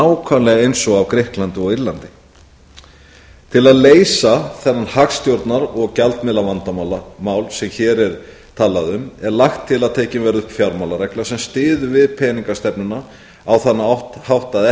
nákvæmlega eins og á grikklandi og írlandi til að leysa þennan hagstjórnar og gjaldmiðlavandamál sem hér er talað um er lagt til að tekin verði upp fjármálaregla sem styður við peninga stefnuna á þann hátt að